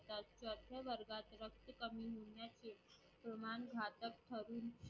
प्रमाण घटक ठरून